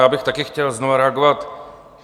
Já bych taky chtěl znovu reagovat.